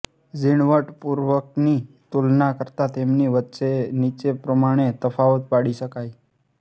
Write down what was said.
ઝીણવટપૂર્વકની તુલના કરતાં તેમની વચ્ચે નીચે પ્રમાણે તફાવત પાડી શકાયઃ